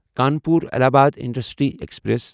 Kanpur Allahabad intercity express